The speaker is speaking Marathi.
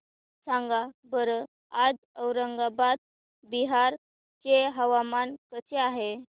सांगा बरं आज औरंगाबाद बिहार चे हवामान कसे आहे